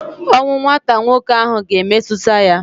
Ọnwụ nwata nwoke ahụ ga-emetụta ya.